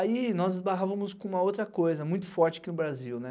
Aí, nós esbarrávamos com uma outra coisa muito forte aqui no Brasil, né?